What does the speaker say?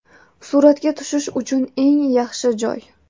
Suratga tushish uchun eng yaxshi joy!